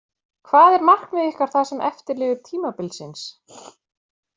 Hvað er markmið ykkar það sem eftir lifir tímabilsins?